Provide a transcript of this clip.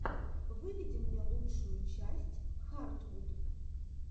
выведи мне лучшую часть хартвуд